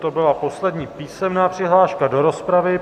To byla poslední písemná přihláška do rozpravy.